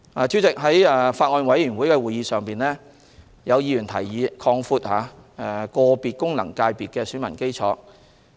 主席，在法案委員會會議上，有議員提議擴闊個別功能界別的選民基礎。